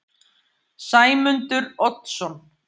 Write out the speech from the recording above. Sæmundur Oddsson